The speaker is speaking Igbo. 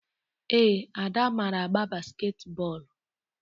Ee, Ada mara agba basketi bọọlụ